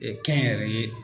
kɛnyɛrɛye